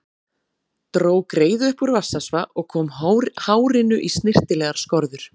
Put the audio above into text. Dró greiðu upp úr rassvasa og kom hárinu í snyrtilegar skorður.